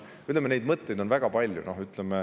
Ütleme, mõtteid on väga palju.